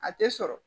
A tɛ sɔrɔ